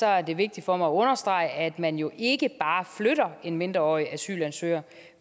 er det vigtigt for mig at understrege at man jo ikke bare flytter en mindreårig asylansøger